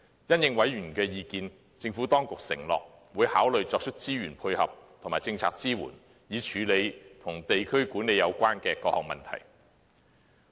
因應委員的意見，政府當局承諾會考慮作出資源配合及政策支援，以處理與地區管理有關的各項問題。